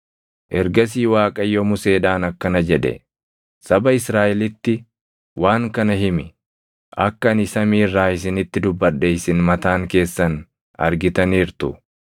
Ergasii Waaqayyo Museedhaan akkana jedhe; “Saba Israaʼelitti waan kana himi: ‘Akka ani samii irraa isinitti dubbadhe isin mataan keessan argitaniirtu;